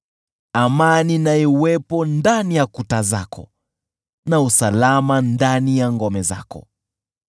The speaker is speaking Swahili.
Amani na iwepo ndani ya kuta zako na usalama ndani ya ngome zako.”